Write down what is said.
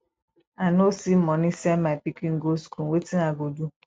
i no see money send my pikin go school wetin i go do